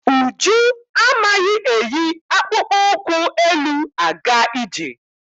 Uju amaghị eyi akpụkpọ ụkwụ elu-aga ije.